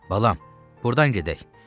Balam, burdan gedək.